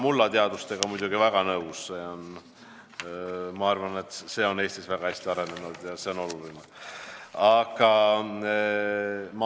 Ma olen sinuga muidugi väga nõus, ma arvan, et see on Eestis väga hästi arenenud valdkond ja see on oluline.